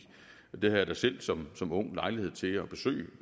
jeg havde da selv som som ung lejlighed til at besøge